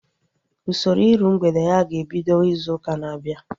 Usoro iru mgbede ya ga-ebido izu ụka na-abịa